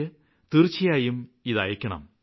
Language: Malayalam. ലേക്ക് തീര്ച്ചയായും അയയ്ക്കണം